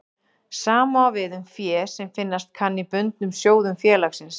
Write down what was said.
Sama á við um fé sem finnast kann í bundnum sjóðum félagsins.